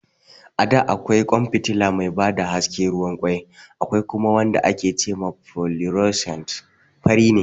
A da akwai ƙwan fitila mai ba da haske ruwan ƙwai, akwai kuma wanda ake ce ma "fluorescent", fari ne.